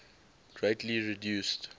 greatly reduced